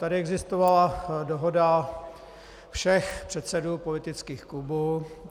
Tady existovala dohoda všech předsedů politických klubů.